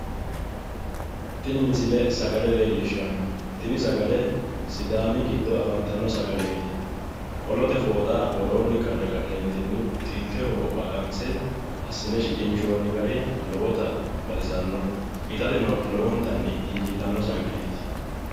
Tini misile sagale leellishshanno tini sagale sidaami giddo afantanno sagaleeti. Qolote fooxa woroonni karre ka'neentinni xilteho wo'ma qanse assine shiqinshoonni gari lowota baxisanno. Itateno lowontanni injiitanno sagaleeti.